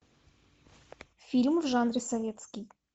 фильм в жанре советский